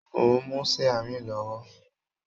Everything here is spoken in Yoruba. Mo n mú siarin lọwọ.